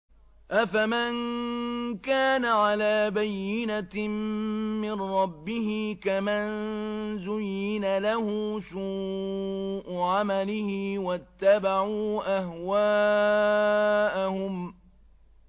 أَفَمَن كَانَ عَلَىٰ بَيِّنَةٍ مِّن رَّبِّهِ كَمَن زُيِّنَ لَهُ سُوءُ عَمَلِهِ وَاتَّبَعُوا أَهْوَاءَهُم